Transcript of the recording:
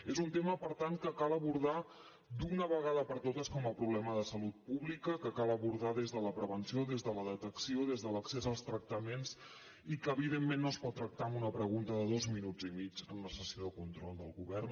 és un tema per tant que cal abordar d’una vegada per totes com a problema de salut pública que cal abordar des de la prevenció des de la detecció des de l’accés als tractaments i que evidentment no es pot tractar amb una pregunta de dos minuts i mig en una sessió de control del govern